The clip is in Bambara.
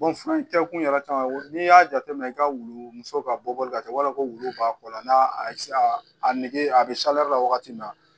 fura in kɛkun yɛrɛ caman n'i y'a jateminɛ i ka wulu muso ka bɔli ka taa wala ko b'a kɔ la n'a a nege a bɛ la wagati min na